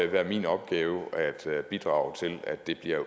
være min opgave at bidrage til at det bliver